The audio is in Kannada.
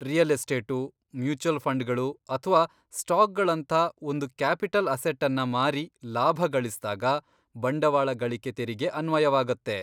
ರಿಯಲ್ ಎಸ್ಟೇಟು, ಮ್ಯುಚುವಲ್ ಫಂಡ್ಗಳು, ಅಥ್ವಾ ಸ್ಟಾಕ್ಗಳಂಥ ಒಂದು ಕ್ಯಾಪಿಟಲ್ ಅಸೆಟ್ಟನ್ನ ಮಾರಿ ಲಾಭ ಗಳಿಸ್ದಾಗ ಬಂಡವಾಳ ಗಳಿಕೆ ತೆರಿಗೆ ಅನ್ವಯವಾಗತ್ತೆ.